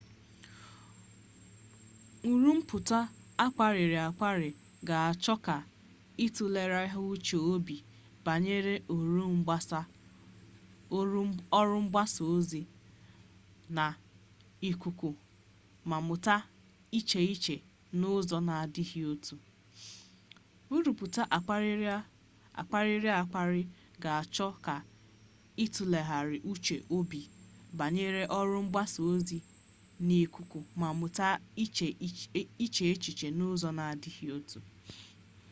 nruputa akpariri-akpari ga-acho ka itulegharia uche-obi banyere oru mgbasa-ozi n'ikuku ma muta iche echiche n'uzo na adighi otu